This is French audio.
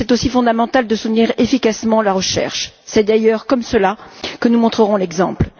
Mais c'est aussi fondamental de soutenir efficacement la recherche, c'est d'ailleurs comme cela que nous montrerons l'exemple.